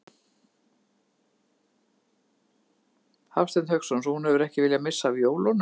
Hafsteinn Hauksson: Svo hún hefur ekki viljað missa af jólunum?